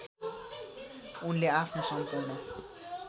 उनले आफ्नो सम्पूर्ण